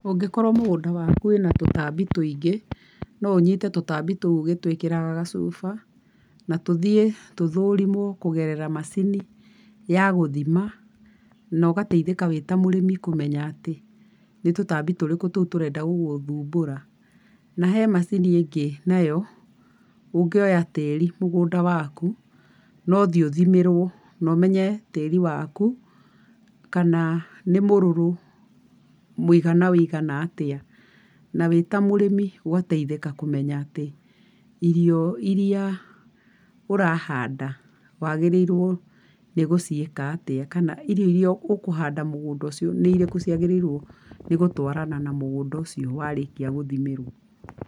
Ũngĩkorwo mũgũnda waku wĩna tũtambi tũingĩ, no ũnyite tũtambi tũu ũgĩtwĩkĩraga gacuba, na tũthiĩ tũthũrimwo kũgerera mũcini ya gũthima, na ũgateithĩka wĩ ta mũrĩmi kũmenya atĩ, nĩ tũtambi tũrĩkũ tũũ tũrenda gũgũthumbura. Na hena macini ingĩ nayo, ũngĩoya tĩri mũgũnda waku, nũthiĩ ũthimĩrwo, no menye tĩri waku, kana nĩ mũrũrũ mũigana wĩigana atĩa. Na wĩta mũrĩmi ũgateithĩka kũmenya atĩ, irio iria ũrahanda, wagĩrĩirwo nĩ gũciĩka atĩa, kana irio iria ũkũhanda mũgũnda ũcio nĩ irĩkũ ciagĩrĩirwo gũtwarana na mũgũnda ũcio warĩkia gũthimĩrwo.